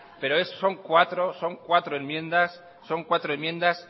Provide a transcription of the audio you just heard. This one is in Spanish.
pero son cuatro son cuatro enmiendas son cuatro enmiendas